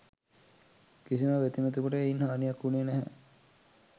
කිසිම බැතිමතෙකුට එයින් හානියක් වුණේ නැහැ.